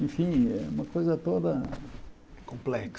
Enfim, é uma coisa toda... Complexa.